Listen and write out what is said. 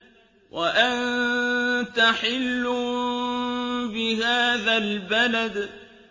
وَأَنتَ حِلٌّ بِهَٰذَا الْبَلَدِ